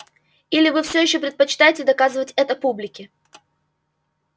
или вы всё ещё предпочитаете доказывать это публике